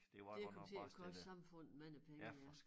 Det kom til at koste æ samfund mange penge ja